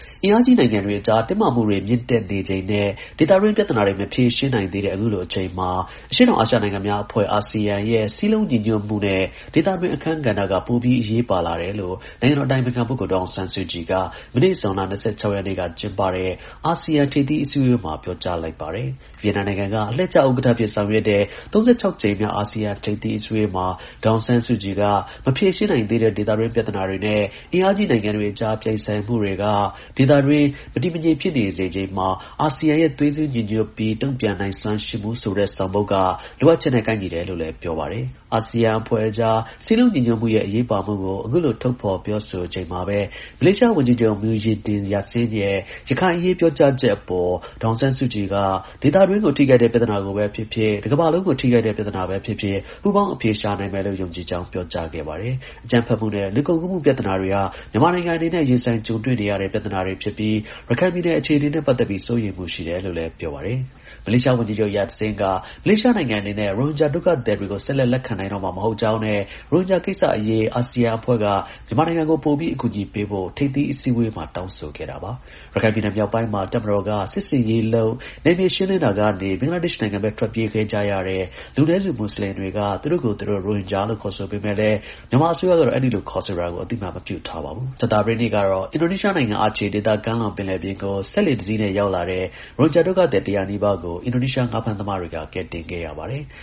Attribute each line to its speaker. Speaker 1: အင်အားကြီး နိုင်ငံတွေအကြား တင်းမာမှုတွေ မြင့်တက်နေချိန်နဲ့ ဒေသတွင်း ပြဿနာတွေ မဖြေရှင်းနိုင်သေးတဲ့ အခုလို အချိန်မှာ အရှေ့တောင်အာရှနိုင်ငံများအဖွဲ့(အာဆီယံ)ရဲ့ စည်းလုံးညီညွတ်မှုနဲ့ ဒေသတွင်း အခန်းကဏ္ဍက ပိုပြီး အရေးကြီးလာတယ်လို့ နိုင်ငံတော် အတိုင်ပင်ခံပုဂ္ဂိုလ် ဒေါ်အောင်ဆန်းစုကြည်က မနေ့ ဇွန်လ ၂၆ ရက်နေ့က ကျင်းပတဲ့ အာဆီယံ ထိပ်သီးအစည်းအဝေးမှာ ပြောကြားလိုက်ပါတယ်။ ဗီယက်နမ်နိုင်ငံက အလှည့်ကျ ဥက္ကဌအဖြစ် ဆောင်ရွက်တဲ့ (၃၆) ကြိမ်မြောက် အာဆီယံ ထိပ်သီးအစည်းအဝေးမှာ ဒေါ်အောင်ဆန်းစုကြည်က မဖြေရှင်းနိုင်သေးတဲ့ ဒေသတွင်း ပြဿနာတွေနဲ့ အင်အားကြီး နိုင်ငံတွေအကြား ပြိုင်ဆိုင်မှုတွေက ဒေသအတွင်း မတည်မငြိမ် ဖြစ်စေချိန်မှာ အာဆီယံရဲ့ သွေးစည်း ညီညွတ်ပြီး တုံ့ပြန်နိုင်စွမ်းရှိမှုဆိုတဲ့ ဆောင်ပုဒ်က လိုအပ်ချက်နဲ့ ကိုက်ညီလာတယ်လို့ လည်း ပြောပါတယ်။ အာဆီယံအဖွဲ့အကြား စည်းလုံးညီညွတ်မှုရဲ့ အရေးပါမှုကို အခုလို ထုတ်ဖော် ပြောဆိုချိန်မှာပဲ မလေးရှား ဝန်ကြီးချုပ် Muhyiddin Yassin ရဲ့ ရခိုင်အရေးပြောကြားချက်အပေါ် ဒေါ်အောင်ဆန်းစုကြည်က ဒေသတွင်းကို ထိခိုက်တဲ့ ပြဿနာ ကိုပဲ ဖြစ်ဖြစ်၊ တကမ္ဘာလုံးကို ထိခိုက်တဲ့ ပြဿနာပဲ ဖြစ်ဖြစ် ပူးပေါင်း အဖြေရှာနိုင်မယ်လို့ ယုံကြည်ကြောင်း ပြောကြားခဲ့ပါတယ်။ အကြမ်းဖက်မှုနဲ့ လူကုန်ကူးမှု ပြဿနာတွေ ဟာ မြန်မာနိုင်ငံအနေနဲ့ ရင်ဆိုင် ကြုံတွေ့နေရတဲ့ အန္တရာယ်တွေဖြစ်ပြီး ရခိုင်ပြည်နယ်အခြေအနေနဲ့ ပတ်သက်ပြီး စိုးရိမ်မှုရှိတယ် လို့လည်း ပြောပါတယ်။ မလေးရှားဝန်ကြီးချုပ် Muhyiddin Yassin က မလေးရှားနိုင်ငံ အနေနဲ့ ရိုဟင်ဂျာ ဒုက္ခသည်တွေကို ဆက်လက် လက်ခံနိုင်တော့မှာ မဟုတ်ကြောင်းနဲ့ ရိုဟင်ဂျာကိစ္စ အရေး အာဆီယံအဖွဲ့က မြန်မာနိုင်ငံကို ပိုပြီး အကူအညီပေးဖို့ ထိပ်သီး အစည်းအဝေးမှာ တောင်းဆို ခဲ့တာပါ။ ရခိုင်ပြည်နယ်မြောက်ပိုင်းမှာ တပ်မတော်က စစ်ဆင်ရေးလုပ် နယ်မြေရှင်းလင်းတာကနေ ဘင်္ဂလားဒေ့ရှ်နိုင်ငံဘက် ထွက်ပြေးသွား ကြတဲ့ လူနည်းစုမွတ်ဆလင်တွေက သူတို့ကိုယ်သူတို့ ရိုဟင်ဂျာလို့ ခေါ်ဆိုကြပေမဲ့လည်း မြန်မာအစိုးရကတော့ အဲဒီလိုခေါ်ဆိုတာကို အသိအမှတ် မပြုထားပါဘူး။ ကြာသပတေးနေ့ကတော့ အင်ဒိုနီးရှားနိုင်ငံ Aceh ဒေသကမ်းလွန်ပင်လယ်ပြင်ကို စက်လှေတစီးနဲ့ ရောက်တာတဲ့ ရိုဟင်ဂျာ ဒုက္ခသည် ၁၀၀ နီးပါးကို အင်ဒိုနီးရှား ငါးဖမ်းသမားတွေက ကယ်ဆယ်ခဲ့ရပါတယ်။